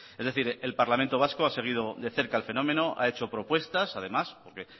es decir el parlamento vasco ha seguido de cerca el fenómeno ha hecho propuestas porque